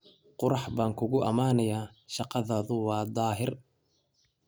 Qurux baan kugu ammaanayaa, shaqadaadu waa daahir.